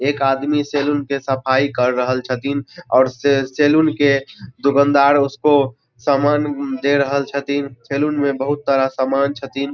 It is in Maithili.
एक आदमी सैलून के सफाई कर रहल छथिन और सै सैलून के दुकानदार उसको सामान दे रहल छथिन। सैलून में बहुत सारा सामान छथिन।